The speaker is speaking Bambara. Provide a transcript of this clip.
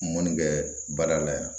Mɔni kɛ baara la yan